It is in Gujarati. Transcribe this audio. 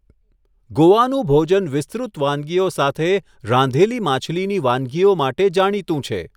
ગોવાનું ભોજન વિસ્તૃત વાનગીઓ સાથે રાંધેલી માછલીની વાનગીઓ માટે જાણીતું છે.